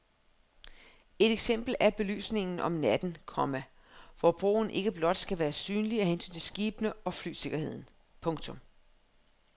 Et eksempel er belysningen om natten, komma hvor broen ikke blot skal være synlig af hensyn til skibene og flysikkerheden. punktum